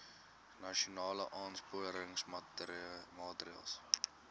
nasionale aansporingsmaatre ls